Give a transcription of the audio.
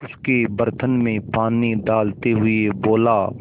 उसके बर्तन में पानी डालते हुए बोला